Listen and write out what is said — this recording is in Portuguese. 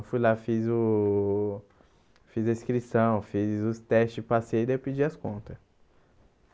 Eu fui lá, fiz o... Fiz a inscrição, fiz os testes, passei, daí eu pedi as contas.